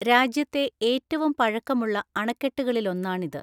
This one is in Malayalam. രാജ്യത്തെ ഏറ്റവും പഴക്കമുള്ള അണക്കെട്ടുകളിലൊന്നാണിത്.